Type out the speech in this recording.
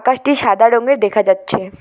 টি সাদা রঙ্গের দেখা যাচ্ছে--